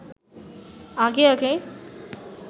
আগে আগে